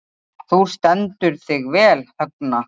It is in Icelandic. Þú stendur þig vel, Högna!